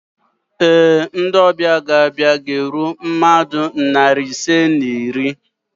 Ee, ndị ọbịa ga-abịa ga-eru mmadụ narị ise na iri